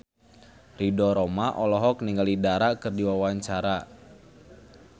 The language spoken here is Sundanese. Ridho Roma olohok ningali Dara keur diwawancara